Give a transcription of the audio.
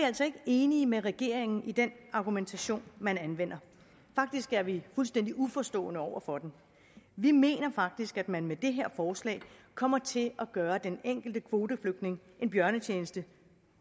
altså ikke enige med regeringen i den argumentation man anvender faktisk er vi fuldstændig uforstående over for den vi mener faktisk at man med det her forslag kommer til at gøre den enkelte kvoteflygtninge en bjørnetjeneste